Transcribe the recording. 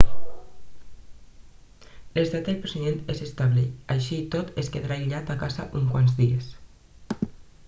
l'estat del president és estable així i tot es quedarà aïllat a casa uns quants de dies